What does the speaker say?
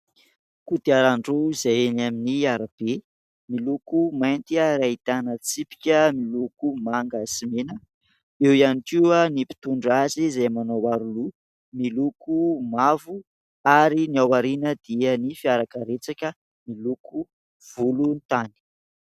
Kodiaran- droa izay eny amin'ny arabe miloko mainty ary ahitana tsipika miloko manga sy mena. Eo ihany koa ny mpitondra azy izay manao aro loha miloko mavo ary ny ao aoriana dia ny fiara karetsaka miloko volontany.